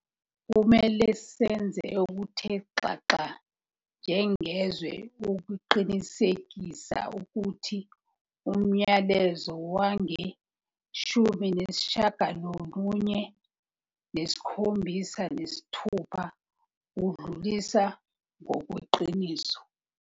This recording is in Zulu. Kumele senze okuthe xaxa njengezwe ukuqinisekisa ukuthi umyalezo wangowe-1976 udluliswa ngokweqiniso.